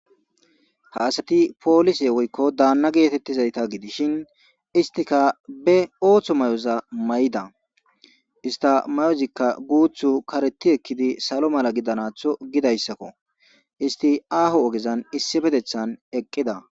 ha asati poolise woykko daanna geetettizayta gidishin istika be ooththo may7oza may7ida ista may7ozikka guuthu kareti ekkidi salo mala gidanatho gidayssakko isti aaho ogezan issi petethan eqqida